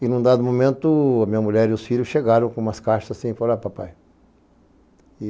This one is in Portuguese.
E num dado momento, a minha mulher e os filhos chegaram com umas caixas, assim, e falaram, papai.